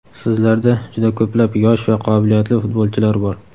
Sizlarda juda ko‘plab yosh va qobiliyatli futbolchilar bor.